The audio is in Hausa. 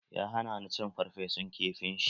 Ya hana ni cin ferfesun kifin shi.